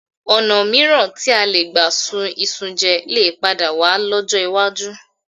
Ọ̀̀nà mìíràn tí a lè gbà ṣun iṣu jẹ lè padà wà lọ́jọ́ iwájú